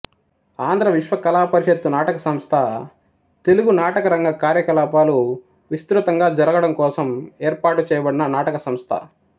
ఆంధ్ర విశ్వ కళాపరిషత్తు నాటక సంస్థ తెలుగు నాటకరంగ కార్యకలాపాలు విస్తృతంగా జరగడంకోసం ఏర్పాటుచేయబడిన నాటక సంస్థ